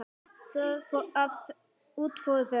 Svo að út fóru þau.